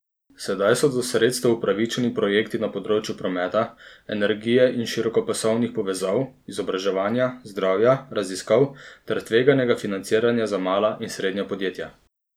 Sedaj so do sredstev upravičeni projekti na področju prometa, energije in širokopasovnih povezav, izobraževanja, zdravja, raziskav ter tveganega financiranja za mala in srednja podjetja.